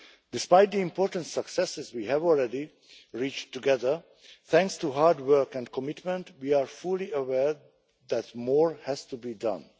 Despite the important successes we have already reached together thanks to hard work and commitment, we are fully aware that more has to be done.